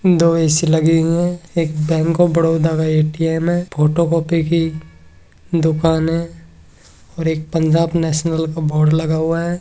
दो ऐ.सी. लगी हुए है एक बैंक ऑफ़ बड़ोदा का ए.टी.एम. है फोटो कॉपी की दुकान है और एक पंजाब नेशनल का बोर्ड लगा हुआ है।